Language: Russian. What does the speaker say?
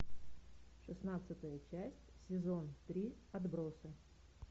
шестнадцатая часть сезон три отбросы